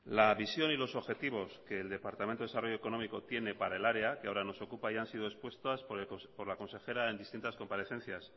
la visión y los objetivo que el departamento de desarrollo económico tiene para el área que ahora nos ocupa ya han sido expuestas por la consejera en distintas comparecencias